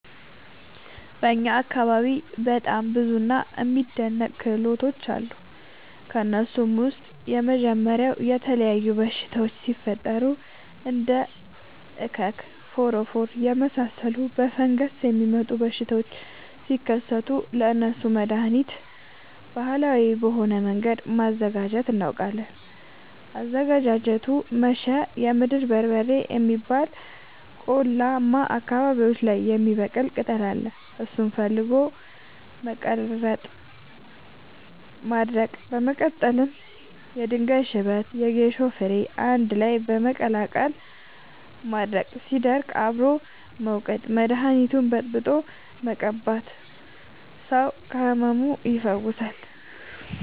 በእኛ አካባቢ በጣም ብዙ እና የሚደናንቅ ክህሎቶች አሉ። ከእነሱም ውስጥ የመጀመሪያው የተለያዩ በሽታወች ሲፈጠሪ እንደ እከክ ፎረፎር የመሳሰሉ በፈንገስ የሚመጡ በሽታዎች ሲከሰቱ ለእነሱ መደሀኒት ባህላዊ በሆነ መንገድ ማዘጋጀት እናውቃለን። አዘገጃጀቱመሸ የምድር በርበሬ የሚባል ቆላማ አካባቢዎች ላይ የሚበቅል ቅጠል አለ እሱን ፈልጎ በመቀለረጥ ማድረቅ በመቀጠልም የድንጋይ ሽበት የጌሾ ፈሸሬ አንድላይ በመቀላቀል ማድረቅ ሲደርቅ አብሮ በመውቀጥ መደኒቱን በጥብጦ በመቀባት ሰው ከህመሙ ይፈወሳል።